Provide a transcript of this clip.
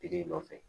Tigi nɔfɛ